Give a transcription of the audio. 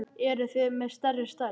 Eruð þið með stærri stærð?